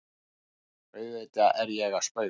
Auðvitað er ég að spauga.